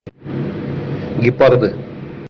гепарды